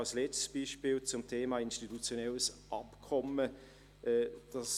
Als letztes Beispiel komme ich zum Thema des institutionellen Abkommens.